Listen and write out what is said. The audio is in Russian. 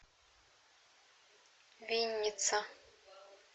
винница